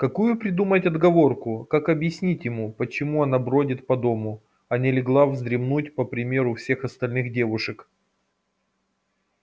какую придумать отговорку как объяснить ему почему она бродит по дому а не легла вздремнуть по примеру всех остальных девушек